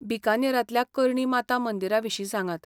बीकानेरांतल्या करणी माता मंदिरा विशीं सांगात.